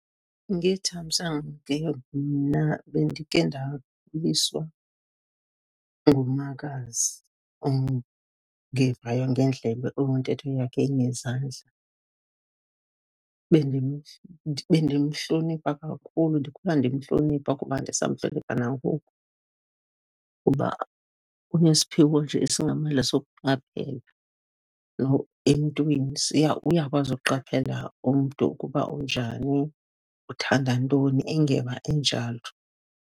Ngethamsanqa ke mna bendike ndakhuliswa ngumakazi ongevayo ngeendlebe, ontetho yakhe ingezandla. Bendimhlonipha kakhulu, ndikhula ndimhlonipha kuba ndisamhlonipha nangoku, kuba unesiphiwo nje esingamandla sokuqaphela emntwini. Uyakwazi ukuqaphela umntu ukuba unjani, uthanda ntoni, engeva enjalo.